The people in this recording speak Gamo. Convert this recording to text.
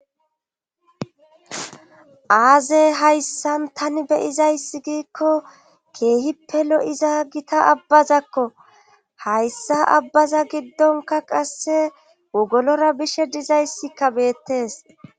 Azey hayssan tani beyizayssi giikko keehi pelo iza gita abbazakko hayssa abbaza giddonka qasse wogolora bishe dizayssikka beettees